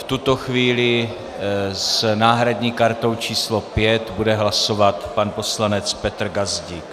V tuto chvíli s náhradní kartou číslo 5 bude hlasovat pan poslanec Petr Gazdík.